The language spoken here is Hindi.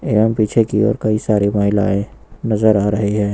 एवं पीछे की ओर कई सारी महिलाएं नजर आ रही हैं।